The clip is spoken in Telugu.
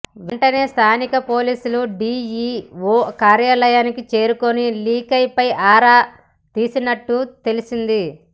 వెంటనే స్థానిక పోలీసులు డిఇఓ కార్యాలయానికి చేరుకుని లీక్పై ఆరా తీసినట్టు తెలిసింది